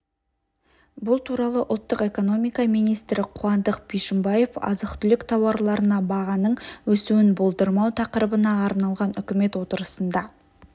бұл туралы ұлттық экономика министрі қуандық бишімбаев азық-түлік тауарларына бағаның өсуін болдырмау тақырыбына арналған үкімет отырысында